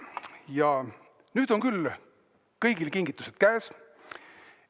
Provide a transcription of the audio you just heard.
Ja nüüd on küll kõigil kingitused käes.